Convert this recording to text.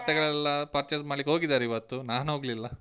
ಬಟ್ಟೆಗಳೆಲ್ಲ purchase ಮಾಡ್ಲಿಕ್ಕೆ ಹೋಗಿದ್ದಾರೆ ಇವತ್ತು, ನಾನು ಹೋಗ್ಲಿಲ್ಲಾ.